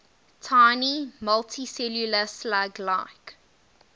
tiny multicellular slug like